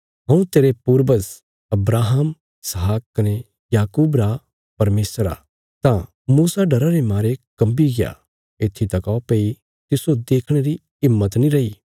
हऊँ तेरे पूर्वज अब्राहम इसहाक कने याकूब रा परमेशर आ तां मूसा डरा रे मारे कम्बीग्या येत्थी तका भई तिस्सो देखणे री हिम्मत नीं रई